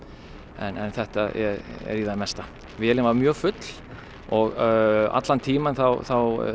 en þetta er í það mesta vélin var mjög full og allan tímann þá þá